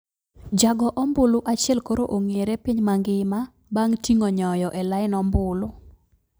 Jago ombulu achiel koro ong`ere piny magima bang` ting`o nyoyo e line ombulu